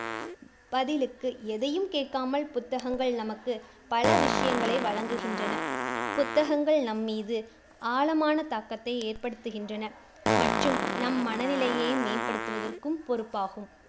பதிலுக்கு எதையும் கேட்காமல் புத்தகங்கள் நமக்கு பல விஷயங்களை வழங்குகின்றன. புத்தகங்கள் நம்மீது ஆழமான தாக்கத்தை ஏற்படுத்துகின்றன மற்றும் நம் மனநிலையை மேம்படுத்துவதற்கும் பொறுப்பாகும்.